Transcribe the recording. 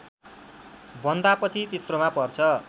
बन्दापछि तेस्रोमा पर्छ